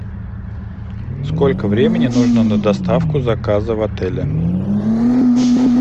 сколько времени нужно на доставку заказа в отеле